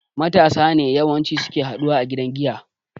Matasa ne yawan ci suke haɗuwa a gidan giya